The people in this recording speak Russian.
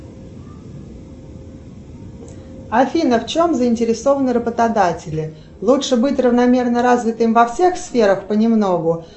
афина в чем заинтересованы работодатели лучше быть равномерно развитым во всех сферах понемногу